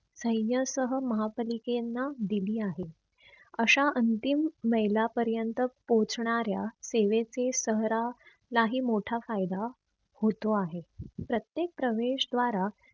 सैन्यासह महापालिके यांना दिली आहे. अश्या अंतिम मैला पर्यंत पोहोचणाऱ्या सेवेचे शहरा ला ही मोठा फायदा होतो आहे. प्रत्येक प्रवेश द्वारा